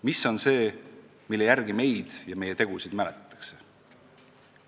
Mis on see, mille järgi meid ja meie tegusid mäletatakse?